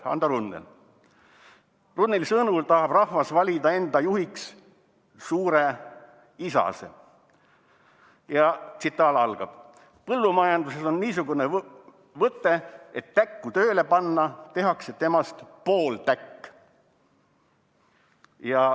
" Runneli sõnul tahab rahvas valida enda juhiks suure isase: "Põllumajanduses on niisugune võte: et täkku tööle panna, tehakse temast pooltäkk.